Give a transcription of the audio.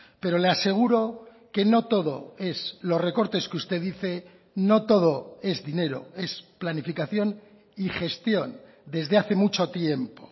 pero le aseguro que no todo es los recortes que usted dice no todo es dinero es planificación y gestión desde hace mucho tiempo